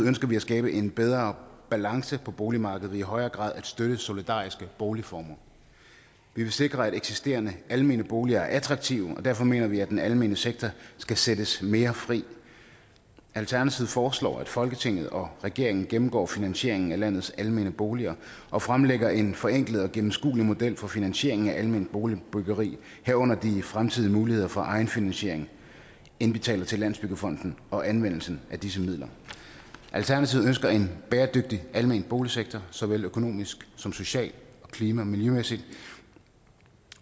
ønsker vi at skabe en bedre balance på boligmarkedet ved i højere grad at støtte solidariske boligformer vi vil sikre at eksisterende almene boliger er attraktive og derfor mener vi at den almene sektor skal sættes mere fri alternativet foreslår at folketinget og regeringen gennemgår finansieringen af landets almene boliger og fremlægger en forenklet og gennemskuelig model for finansieringen af alment boligbyggeri herunder de fremtidige muligheder for egenfinansiering indbetalinger til landsbyggefonden og anvendelsen af disse midler alternativet ønsker en bæredygtig almen boligsektor såvel økonomisk som socialt klima og miljømæssigt